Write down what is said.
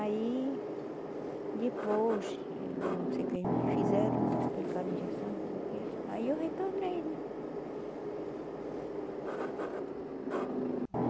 Aí, depois, eu não sei o que eles me fizeram, aplicaram a injeção, não sei o quê, aí eu retornei, né?